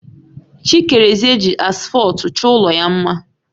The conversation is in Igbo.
Chikereze ji asfọltu chọọ ụlọ ya mma